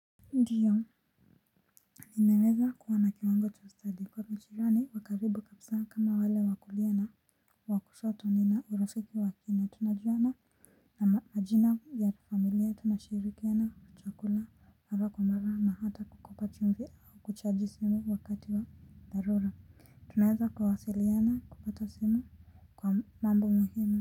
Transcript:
Ndiyo, ninaweza kuwa na kiwango cha ustadi kwangu jirani wa karibu kabisa ni kama wale wa kulia na wa kushoto nina urafiki wa kina, tunajuana na majina ya familia tunashirikiana kwa chakula ama kung'ara na hata kukopa chumvi au kuchaji simu wakati wa dharura tunaweza kuwasiliana kupitia simu kwa mambo muhimu.